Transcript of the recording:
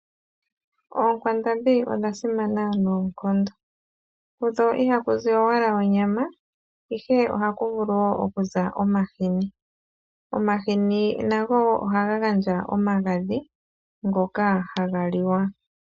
Oonkwandambi odha simana noonkondo kudho iha ku zi owala onyama, ihe oha ku vulu wo okuza omahini. Omahini nago ohaga gandja omagadhi ngoka haga liwa.